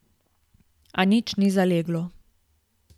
A nič ni zaleglo.